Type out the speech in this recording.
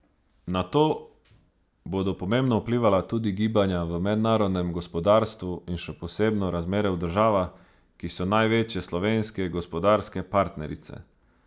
Na to bodo pomembno vplivala tudi gibanja v mednarodnem gospodarstvu in še posebno razmere v državah, ki so največje slovenske gospodarske partnerice.